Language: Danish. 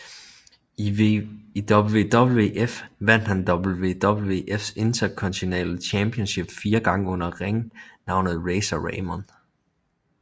I WWF vandt han WWF Intercontinental Championship fire gange under ringnavnet Razor Ramon